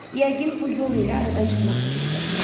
Yəqin bu yol ilə aradan çıxmaq fikrindədirlər.